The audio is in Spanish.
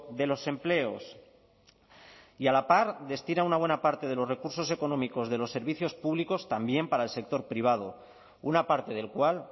de los empleos y a la par destina una buena parte de los recursos económicos de los servicios públicos también para el sector privado una parte del cual